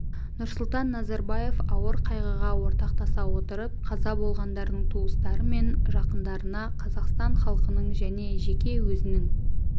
нұрсұлтан назарбаев ауыр қайғыға ортақтаса отырып қаза болғандардың туыстары мен жақындарына қазақстан халқының және жеке өзінің